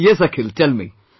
Yes Akhil, tell me